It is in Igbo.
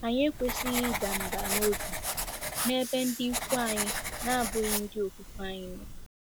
Anyị ekwesịghị ịda mbà n'obi n'ebe ndị ikwu anyị na-abụghị ndị okwukwe anyị nọ.